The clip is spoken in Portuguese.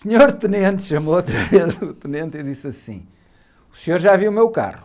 O senhor tenente, chamou outra vez o tenente e disse assim, o senhor já viu o meu carro.